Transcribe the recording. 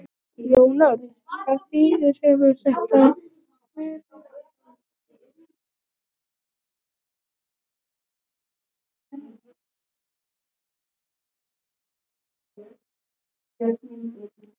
Jón Örn: Hvaða þýðingu hefur þetta fyrir ykkar starfsemi, hefur þetta áhrif á ykkur?